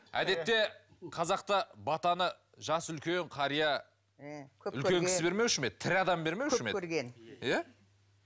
әдетте қазақта батаны жасы үлкен қария м үлкен кісі бермеуші ме еді тірі адам бермеуші ме еді көп көрген иә